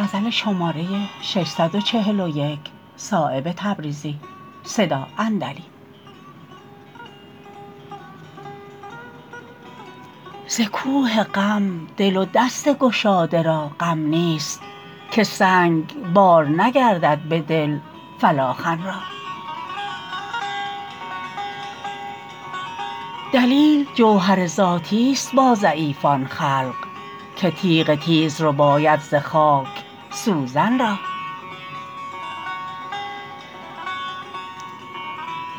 ز کوه غم دل و دست گشاده را غم نیست که سنگ بار نگردد به دل فلاخن را دلیل جوهر ذاتی است با ضعیفان خلق که تیغ تیز رباید ز خاک سوزن را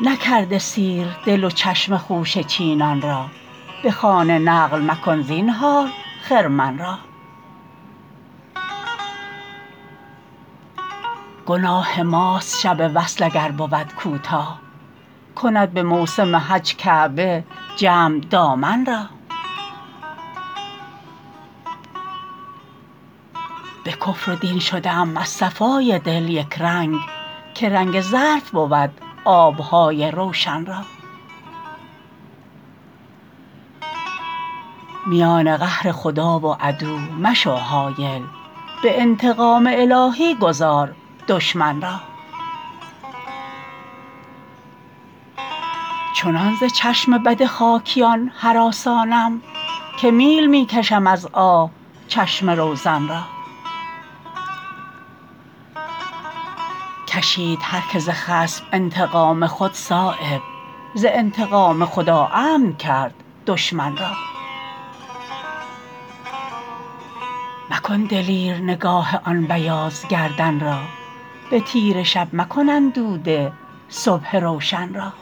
نکرده سیر دل و چشم خوشه چینان را به خانه نقل مکن زینهار خرمن را گناه ماست شب وصل اگر بود کوتاه کند به موسم حج کعبه جمع دامن را به کفر و دین شده ام از صفای دل یکرنگ که رنگ ظرف بود آبهای روشن را میان قهر خدا و عدو مشو حایل به انتقام الهی گذار دشمن را چنان ز چشم بد خاکیان هراسانم که میل می کشم از آه چشم روزن را کشید هر که ز خصم انتقام خود صایب ز انتقام خدا امن کرد دشمن را مکن دلیر نگاه آن بیاض گردن را به تیره شب مکن اندوده صبح روشن را